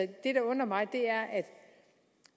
det der undrer mig er at